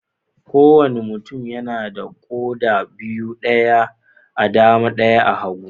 Kowane mutum yana da koda biyu, daya a dama, ɗayan a hagu.